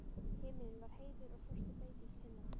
Himinninn var heiður og frostið beit í kinnarnar.